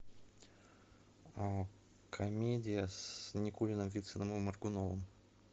комедия с никулиным вициным и моргуновым